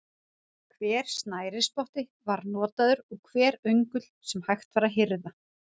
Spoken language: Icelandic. Hver snærisspotti var notaður og hver öngull sem hægt var að hirða.